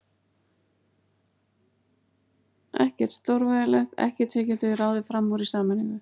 Ekkert stórvægilegt, ekkert sem við getum ekki ráðið fram úr í sameiningu.